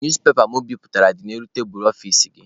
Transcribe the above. Newspepa mụ biputere dị n'elu tebulu ọfici gị.